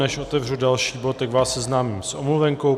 Než otevřu další bod, tak vás seznámím s omluvenkou.